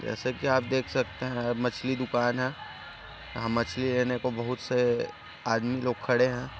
जैसे कि आप देख सकते है मछली दुकान है यहाँ मछली लेने को बहुत से आदमी लोग खडे है।